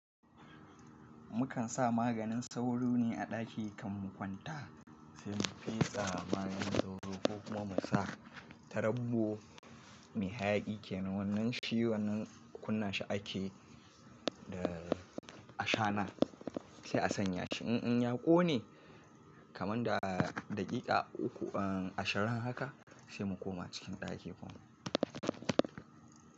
Mukan sa maganin sauro ne a ɗaki kan mu kwanta, sai mu fesa maganin sauro ko kuma mu sa tarabbo mai hayaki. Kaina wannan shi wannan kunna shi ake da a shana sai a sanya shi. In ya ƙone kaman da daƙiƙa uku a shirin haka sai mu koma cikin ɗaki kuma.